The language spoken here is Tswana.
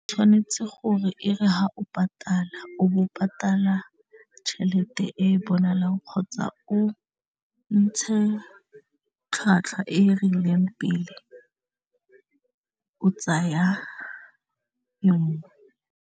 Tshwanetse gore e re ha o patala o bo patala tšhelete e bonalang kgotsa o ntshe tlhwatlhwa e e rileng pele o tsaya .